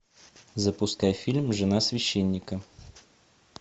запускай фильм жена священника